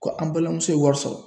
Ko an balimamuso ye wari sɔrɔ.